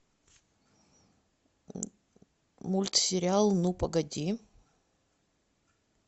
мультсериал ну погоди